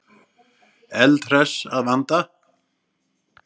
Eldhress að vanda.